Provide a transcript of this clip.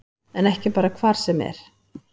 En ekki bara hvar sem er